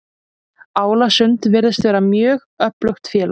Álasund virðist vera mjög öflugt félag.